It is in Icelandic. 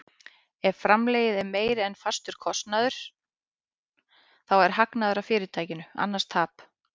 Ef framlegð er meiri en fastur kostnaður þá er hagnaður af fyrirtækinu, annars tap.